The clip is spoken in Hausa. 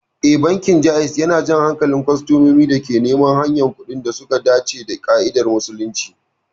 Ee, bankin Jaiz yana jan hankalin kwastomomin da ke neman ayyukan kuɗi da suka dace da ƙa'idar Musulunci.